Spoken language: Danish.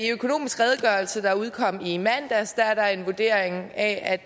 økonomisk redegørelse der udkom i mandags er der en vurdering af at